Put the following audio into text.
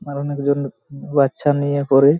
আর অনেকজন বাচ্চা নিয়ে ঘোরে।